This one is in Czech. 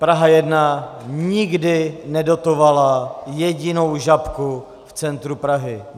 Praha 1 nikdy nedotovala jedinou Žabku v centru Prahy.